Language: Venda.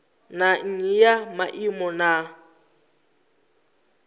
na nnyi ya maimo na